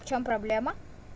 в чём проблема